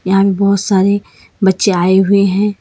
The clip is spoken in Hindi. आज बहोत सारे बच्चे आए हुए हैं।